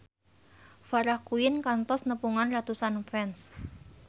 Farah Quinn kantos nepungan ratusan fans